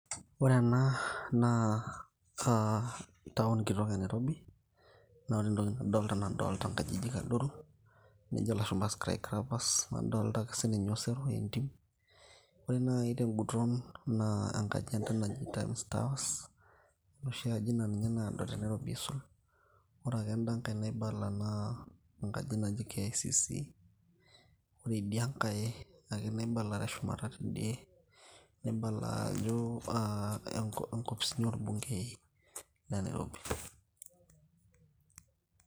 ore ena naa town kitok enairobi naa ore entoki nadolta naa adolta nkajijik adoru nejo ilashumpa skycrappers nadolta ake sininye osero entim ore naaji tenguton naa enkaji enda naji times towers enoshi aji naa ninye naado tenairobi aisul ore ake endankay naibala naa enkaji naji KICC ore idiankay ake naibala teshumata tidie nibala ajo uh inkopisini orbungei.